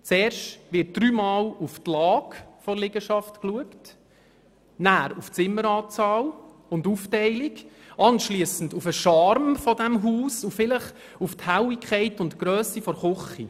Zuerst wird dreimal auf die Lage der Liegenschaft geachtet, dann auf die Zimmeranzahl und ihre Aufteilung, anschliessend auf den Charme des Hauses und vielleicht auf die Helligkeit und die Grösse der Küche.